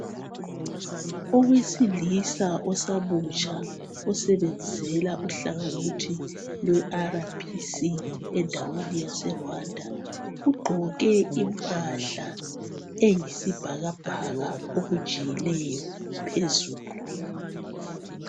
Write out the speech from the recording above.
Owesilisa osamutsha osebenzela uhlangothi lwe rbc endaweni yaseRwanda ugqoke impahla eyisibhakabhaka okujiyileyo phezulu.